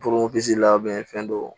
la fɛn dɔw